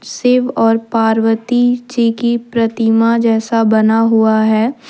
शिव और पार्वती जी की प्रतिमा जैसा बना हुआ है।